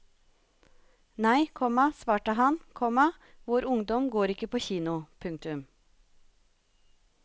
Nei, komma svarte han, komma vår ungdom går ikke på kino. punktum